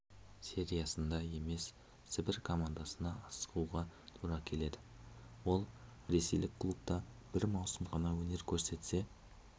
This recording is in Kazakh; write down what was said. сериясында емес сібір командасына ауысуға тура келеді ол ресейлік клубта бір маусым ғана өнер көрсетсе